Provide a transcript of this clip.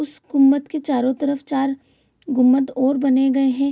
उस गुंबद के चारो तरफ चार गुंबद और बने गए है।